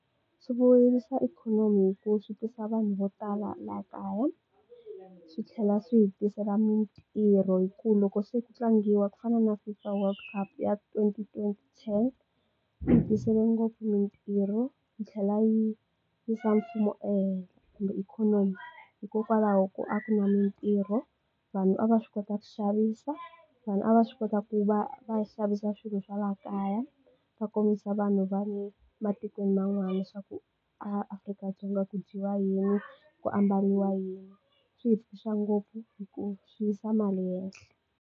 Swi vuyerisa ikhonomi hi ku swi tisa vanhu vo tala laha kaya swi tlhela swi hitisela mitirho hi ku loko se ku tlangiwa ku fana na fifa world cup ya twenty twenty ten yi hi tisele ngopfu mitirho yi tlhela yi yisa mfumo ehenhla kumbe ikhonomi hikokwalaho ko a ku na mitirho vanhu a va swi kota ku xavisa vanhu a va swi kota ku va va xavisa swilo swa laha kaya va kombisa vanhu va le matikweni man'wana swa ku a Afrika-Dzonga ku dyiwa yini, ku ambariwa yini, swi hi tsakisa ngopfu hikuva swi yisa mali hehla.